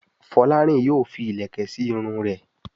Folarin yóò fí ilẹkẹ sí Irun rẹ.